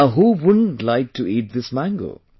Now who wouldn't like to eat this mango